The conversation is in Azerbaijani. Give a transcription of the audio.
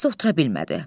Dərsdə otura bilmədi.